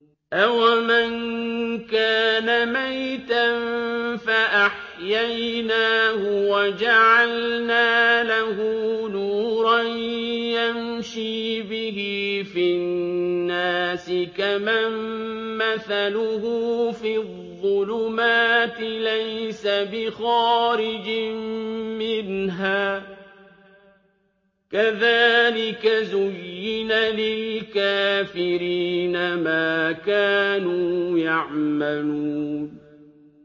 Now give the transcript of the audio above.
أَوَمَن كَانَ مَيْتًا فَأَحْيَيْنَاهُ وَجَعَلْنَا لَهُ نُورًا يَمْشِي بِهِ فِي النَّاسِ كَمَن مَّثَلُهُ فِي الظُّلُمَاتِ لَيْسَ بِخَارِجٍ مِّنْهَا ۚ كَذَٰلِكَ زُيِّنَ لِلْكَافِرِينَ مَا كَانُوا يَعْمَلُونَ